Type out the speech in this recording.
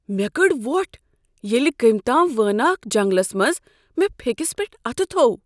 مےٚ کٔڈ ووٹھ ییٚلہ كمۍ تام وٲناکھ جنگلس منز مے٘ پھیكِس پیٹھ اتھہٕ تھوٚو ۔